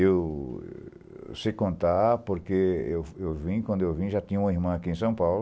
Eu sei contar porque eu eu vim, quando eu vim já tinha uma irmã aqui em São Paulo.